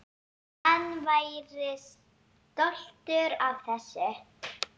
Hann væri stoltur af þessu.